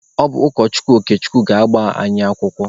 Ọ bụ ụkọchukwu Okechukwu ga-agba anyị akwụkwọ.